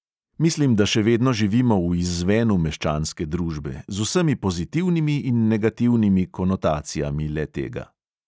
Mislim, da še vedno živimo v izzvenu meščanske družbe, z vsemi pozitivnimi in negativnimi konotacijami le-tega.